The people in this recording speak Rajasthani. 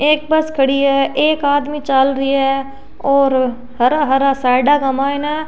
एक बस खड़ी है एक आदमी चाल री है और हरा हरा साइड का माइन --